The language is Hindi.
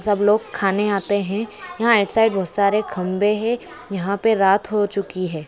भासा गलत है ये पूरा का पूरा